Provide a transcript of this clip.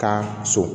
Ka so